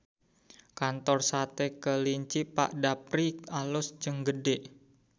Kantor Sate Kelinci Pak Dapri alus jeung gede